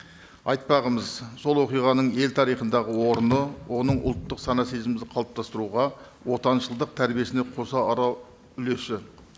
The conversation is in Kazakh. айтпағымыз сол оқиғаның ел тарихындағы орны оның ұлттық сана сезімімізді қалыптастыруға отаншылыдқ тәрбиесіне қоса үлесі